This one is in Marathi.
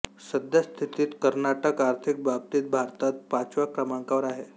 सद्यस्थितीत कर्नाटक आर्थिक बाबतीत भारतात पाचव्या क्रमांकावर आहे